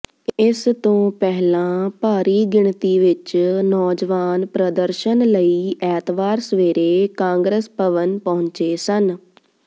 ਇਸ ਤੋਂ ਪਹਿਲਾਂ ਭਾਰੀ ਗਿਣਤੀ ਵਿਚ ਨੌਜਵਾਨ ਪ੍ਰਦਰਸ਼ਨ ਲਈ ਐਤਵਾਰ ਸਵੇਰੇ ਕਾਂਗਰਸ ਭਵਨ ਪਹੁੰਚੇ ਸਨ